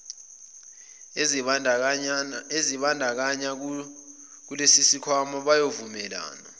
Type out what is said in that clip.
ezizibandakanya kulesisikhwama bayovumelana